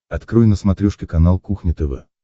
открой на смотрешке канал кухня тв